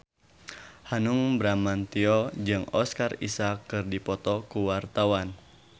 Hanung Bramantyo jeung Oscar Isaac keur dipoto ku wartawan